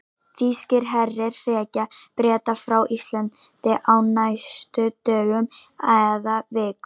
Þýskir herir hrekja Breta frá Íslandi á næstu dögum eða vikum.